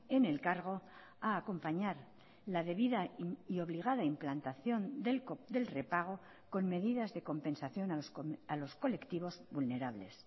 en el cargo a acompañar la debida y obligada implantación del repago con medidas de compensación a los colectivos vulnerables